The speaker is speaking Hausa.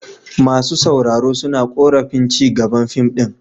Masu sauraro suna korafin ci gaban fim din.